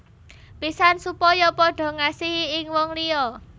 Pisan supaya padha ngasihi ing wong liya